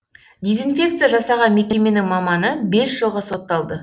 дезинфекция жасаған мекеменің маманы бес жылға сотталды